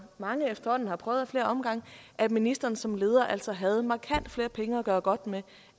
mange efterhånden har prøvet ad flere omgange at ministeren som leder altså havde markant flere penge at gøre godt med